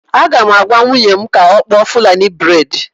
M ga-agwa nwunye m ka ọ kpụọ fulani braid